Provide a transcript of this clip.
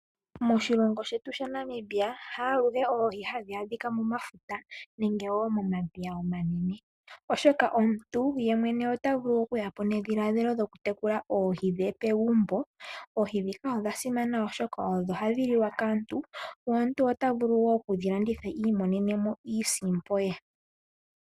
Moshilongo shetu shaNamibia ha aluhe Oohi hadhi adhika mo mafuta nenge wo mo madhiya omanene. Oshoka omuntu ye mwene ota vulu oku yapo nedhilaadhilo lyoku tekula Oohi dhe pegumbo. Oohi dhika odha simana oshoka odho hadhi liwa kaantu, na omuntu ota vulu wo oku dhi landitha imonene mo iisimpo ye.